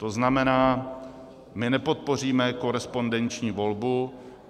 To znamená, my nepodpoříme korespondenční volbu.